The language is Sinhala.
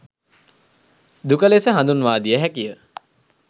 දුක ලෙස හඳුන්වාදිය හැකි ය.